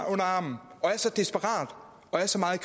armen og er så desperat og er så meget